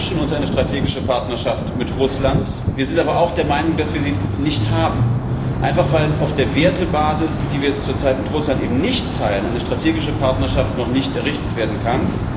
Wir wünschen uns eine strategische Partnerschaft mit Russland. Wir sind aber auch der Meinung, dass wir sie nicht haben, einfach weil auf der Wertebasis, die wir zur Zeit mit Russland eben nicht teilen, eine strategische Partnerschaft noch nicht errichtet werden kann.